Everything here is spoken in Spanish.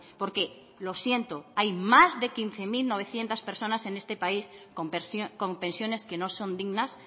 porque lo siento hay más de quince mil novecientos personas en este país con pensiones que no son dignas